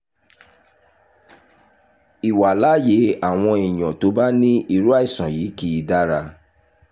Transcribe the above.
ìwàláàyè àwọn èèyàn tó bá ní irú àìsàn yìí kì í dára